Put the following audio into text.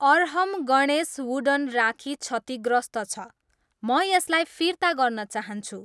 Arham Ganesh wooden rakhi क्षतिग्रस्त छ, म यसलाई फिर्ता गर्न चाहन्छु।